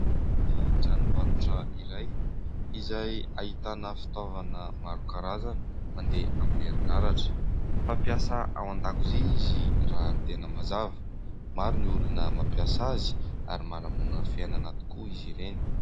Anaty tranombarotra iray izay ahitana fitaovana maro karazana mandeha amin'ny herinaratra. Fampiasa ao an-dakozia izy raha ny tena mazava. Maro ny olona mampiasa azy ary manamora ny fiainana tokoa izy ireny.